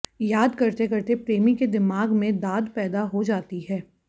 याद करते करते प्रेमी के दिमाग में दाद पैदा हो जाती है